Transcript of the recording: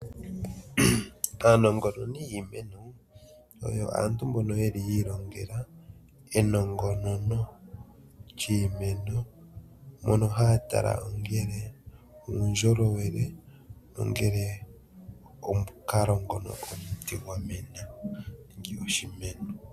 Aanongononi yiimeno oyo aantu mbono yeli yiilongela enongonono lyiimeno mono haya tala ongele uundjolowele nongele omukalo ngono omuti gwamena nenge oshimeno.